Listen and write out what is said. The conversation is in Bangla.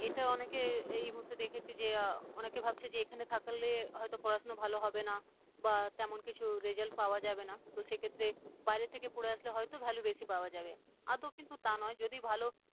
এটা অনেকে এই মুহূর্ত দেখেছি যে অনেকে ভাবছে যে এখানে থাকলে হয়তো পড়াশোনা ভালো হবে না বা তেমন কিছু result পাওয়া যাবে না, তো সে ক্ষেত্রে বাইরে থেকে পড়ে আসলে হয়তো value বেশি পাওয়া যাবে আদৌ কিন্তু তা নয় যদি ভালো